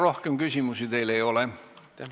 Rohkem küsimusi teile ei ole.